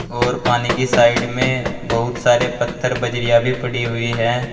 और पानी की साइड में बहुत सारे पत्थर बजरिया भी पड़ी हुई हैं।